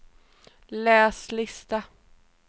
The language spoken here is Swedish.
läs lista